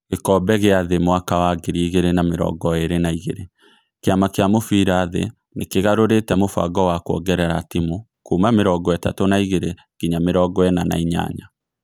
Gĩkombe gĩa thĩ mwaka wa ngiri igĩrĩ na mĩrongo ĩrĩ na igĩrĩ: Kĩama kĩa mũbira thĩ nĩ kĩgarũrĩte mũbango wa kuongerera timu kuuma mĩrongo-itatũ na igĩrĩ nginya mĩrongo-ĩna na inyanya.